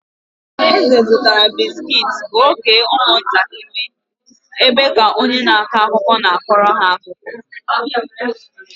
Eze zụtara bisikiiti ka ọ kee ụmụntakịrị ebe ka onye na-akọ akụkọ na-akọrọ ha akụkọ.